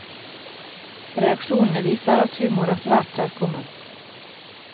Reaksjonene viser at humor er svært kjærkomment.